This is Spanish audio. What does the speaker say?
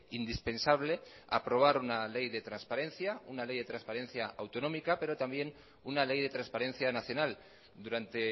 indispensable aprobar una ley de transparencia una ley de transparencia autonómica pero también una ley de transparencia nacional durante